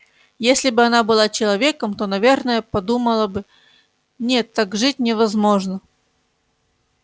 если бы она была человеком то наверное подумала бы нет так жить невозможно